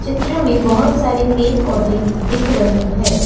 चित्र में बहुत सारे पेड़ पौधे दिख रहे हैं।